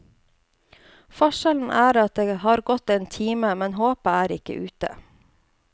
Forskjellen er at det har gått en time, men håpet er ikke ute.